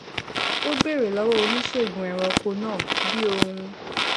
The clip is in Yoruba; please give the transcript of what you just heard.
ó béèrè lówó oníṣègùn ẹranko náà bi oun